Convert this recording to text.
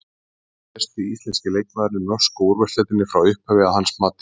Hver er besti íslenski leikmaðurinn í norsku úrvalsdeildinni frá upphafi að hans mati?